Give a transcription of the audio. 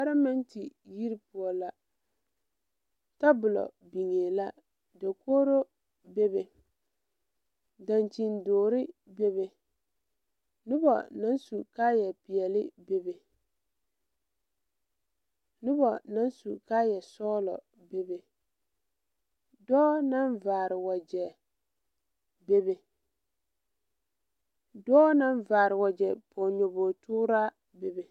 Palamɛnte yiri poɔ la tabolɔ biŋee la dokogro bebe daŋkyini dɔɔre bebe nobɔ naŋ su kaayɛ peɛle bebe nobɔ naŋ su kaayɛ sɔglɔ bebe dɔɔ naŋ vaare wagyɛ bebe dɔɔ naŋ vaare wagyɛ pɔge nyobogepɔgraa bebe.